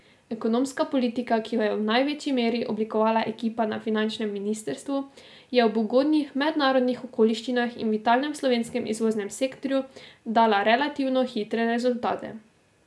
Ekonomska politika, ki jo je v največji meri oblikovala ekipa na finančnem ministrstvu, je ob ugodnih mednarodnih okoliščinah in vitalnem slovenskem izvoznem sektorju dala relativno hitre rezultate.